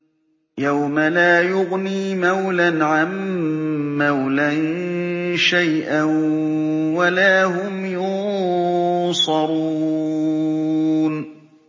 يَوْمَ لَا يُغْنِي مَوْلًى عَن مَّوْلًى شَيْئًا وَلَا هُمْ يُنصَرُونَ